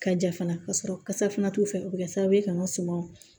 Ka ja fana ka sɔrɔ kasa fana t'u fɛ o bɛ kɛ sababu ye ka n ka sumanw